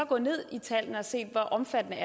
går ned i tallene og ser hvor omfattende